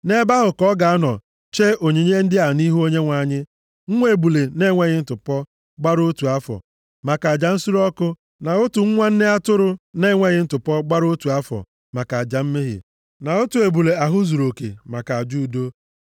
Nʼebe ahụ ka ọ ga-anọ chee onyinye ya ndị a nʼihu Onyenwe anyị: nwa ebule na-enweghị ntụpọ, gbara otu afọ, maka aja nsure ọkụ na otu nwa nne atụrụ na-enweghị ntụpọ gbara otu afọ maka aja mmehie, na otu ebule ahụ zuruoke maka aja udo,